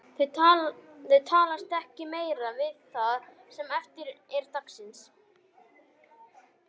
Þau talast ekki meira við það sem eftir er dagsins.